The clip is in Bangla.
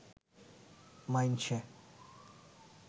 মাইনষে